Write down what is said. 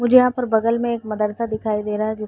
मुझे यहाँ पर बगल में एक मदरसा दिखाई दे रहा है जो --